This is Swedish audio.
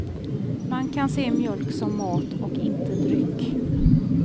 Man kan se mjölk som mat och inte dryck.